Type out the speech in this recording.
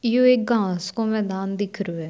यो एक घाँस को मैदान दिख रियो है।